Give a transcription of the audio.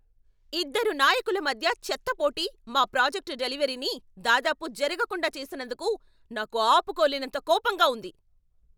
ఇద్దరు నాయకుల మధ్య చెత్త పోటీ మా ప్రాజెక్ట్ డెలివరీని దాదాపు జరగకుండా చేసినందుకు నాకు ఆపుకోలేనంత కోపంగా ఉంది.